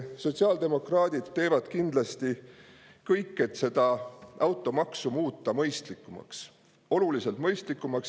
Sotsiaaldemokraadid teevad kindlasti kõik, et muuta seda automaksu mõistlikumaks, oluliselt mõistlikumaks.